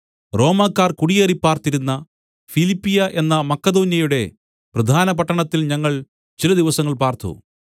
റോമക്കാർ കുടിയേറിപ്പാർത്തിരുന്ന ഫിലിപ്പിയ എന്ന മക്കെദോന്യയുടെ പ്രധാനപട്ടണത്തിൽ ഞങ്ങൾ ചില ദിവസങ്ങൾ പാർത്തു